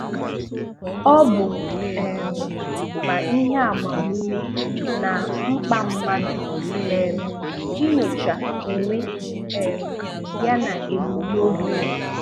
Ọ́ bụ̀ um mà ïhé àgbàmúmé nà mkpà mmádụ̀ um ínyòchà ònwé um ya nà èbùmnóbì yá